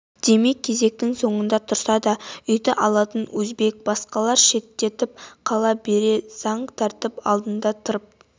демек кезектің соңында тұрса да үйді алатын өзбек басқалар шеттеп қала береді заң тәртіп алдында тырп